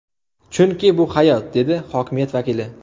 Chunki bu hayot”, dedi hokimiyat vakili.